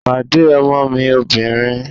Pàdé ọmọ mi obìnrin!